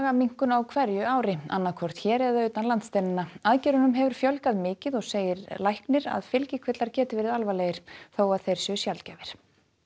magaminnkun á hverju ári annaðhvort hér eða utan landsteinanna aðgerðunum hefur fjölgað mikið og segir læknir að fylgikvillar geti verið alvarlegir þó að þeir séu sjaldgæfir